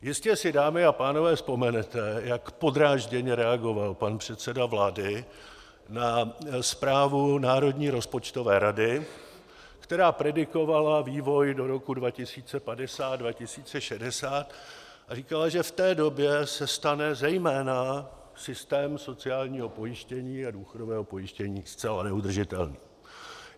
Jistě si, dámy a pánové, vzpomenete, jak podrážděně reagoval pan předseda vlády na zprávu Národní rozpočtové rady, která predikovala vývoj do roku 2050, 2060 a říkala, že v té době se stane zejména systém sociálního pojištění a důchodového pojištění zcela neudržitelný.